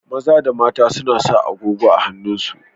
Maza da mata suna sa agogo a hannun su.